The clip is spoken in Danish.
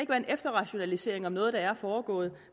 være en efterrationalisering om noget der er foregået